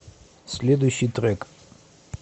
следующий трек